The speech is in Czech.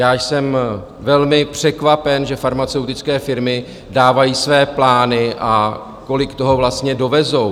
Já jsem velmi překvapen, že farmaceutické firmy dávají své plány a kolik toho vlastně dovezou.